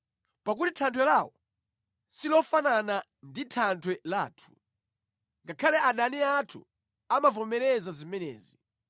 Pakuti thanthwe lawo silofanana ndi Thanthwe lathu, ngakhale adani athu amavomereza zimenezi.